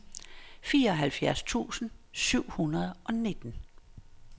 fireoghalvfjerds tusind syv hundrede og nitten